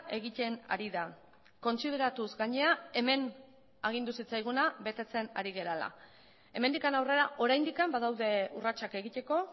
egiten ari da kontsideratuz gainera hemen agindu zitzaiguna betetzen ari garela hemendik aurrera oraindik badaude urratsak egiteko